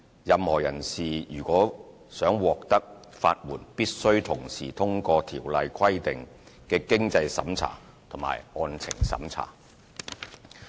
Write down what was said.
任何人士如欲獲得法援，必須同時通過該條例規定的經濟審查及案情審查。